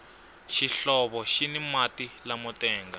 xihlovo xini mati lamo tenga